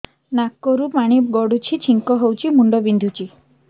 ନାକରୁ ପାଣି ଗଡୁଛି ଛିଙ୍କ ହଉଚି ମୁଣ୍ଡ ବିନ୍ଧୁଛି